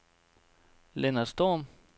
Lennart Storm